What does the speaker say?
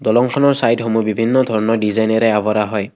দলংখনৰ চাইডসমূহ বিভিন্ন ডিজাইনেৰে আৱৰা হয়।